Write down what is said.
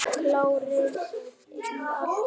Klárir í allt saman?